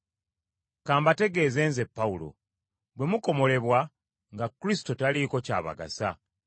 Ka mbategeeze nze Pawulo: Bwe mukomolebwa, nga Kristo taliiko ky’abagasa.